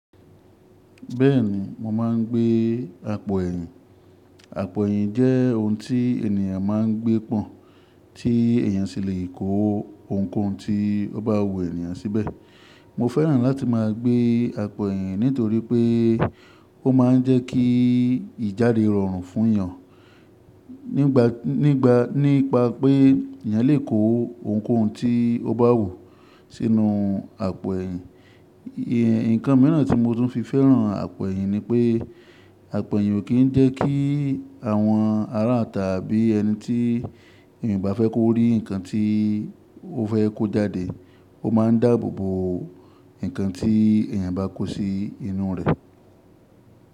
Bẹ́ẹ̀ni, mo máa ń gbé àpò ẹ̀yìn. Àpò ẹ̀yìn jẹ́ ohun tí ènìyàn máa ń gbé pọ́n tí èyàn sì le kó ohunkóhun tí ó bá wù ènìyàn síbẹ̀. Mo fẹ́ràn láti máa gbé àpò ẹ̀yìn nítorí pé ó máa ń jẹ́ kí ìjáde rọrùn fún èèyàn nípa pé èèyàn lè kó ohunkóhun tí ó bá wù sínú àpò ẹ̀yìn. Ǹkan mìíràn tí mo tún fi fẹ́ràn àpò ẹ̀yìn ni pé àpò ẹ̀yìn ò kí ń jẹ́ kí àwọn arátà bí ẹni tí èèyàn bá fẹ́ kó rí nǹkan tí ó fẹ́ kó jáde, ó máa ń dáàbò bo nǹkan tí èèyàn bá kó sí inú rẹ̀.